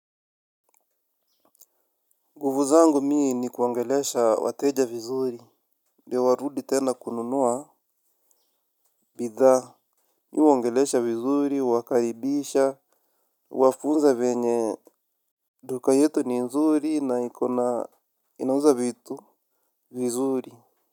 Nguvu zangu mii ni kuongelesha wateja vizuri. Ndio warudi tena kununua bidhaa mi huwaoangelesha vizuri, huwakaribisha, huwafunza venye duka yetu ni nzuri na iko na inauza vitu vizuri.